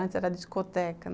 Antes era discoteca.